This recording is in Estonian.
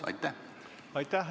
Aitäh!